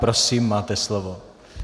Prosím, máte slovo.